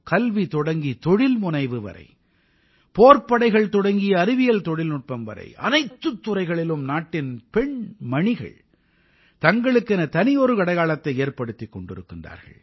கல்வி தொடங்கி தொழில்முனைவு வரை போர்ப்படைகள் தொடங்கி அறிவியல் தொழில்நுட்பம் வரை அனைத்துத் துறைகளிலும் நாட்டின் பெண் மணிகள் தங்களுக்கென தனியொரு அடையாளத்தை ஏற்படுத்திக் கொண்டிருக்கிறார்கள்